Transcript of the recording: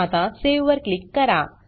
आता सावे वर क्लिक करा